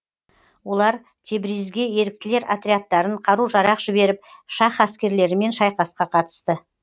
олар тебризге еріктілер отрядтарын қару жарақ жіберіп шаһ әскерлерімен шайқасқа қатысты